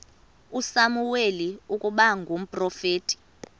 usamuweli ukuba ngumprofeti